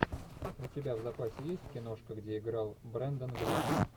у тебя в запасе есть киношка где играл брендан глисон